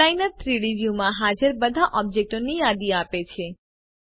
outliner 3ડી વ્યુંમાં હાજર બધા ઓબ્જેક્ટોની યાદી આપે છે